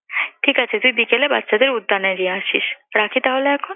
ঠিক আছে তুই বিকেলে বাচ্চাদের উদ্যানে নিয়ে আসিস। রাখি তাহলে এখন?